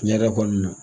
Tiɲɛ yɛrɛ kɔni na